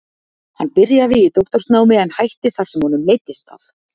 Hann byrjaði í doktorsnámi en hætti þar sem honum leiddist það.